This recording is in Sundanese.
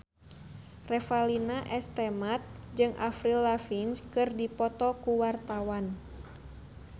Revalina S. Temat jeung Avril Lavigne keur dipoto ku wartawan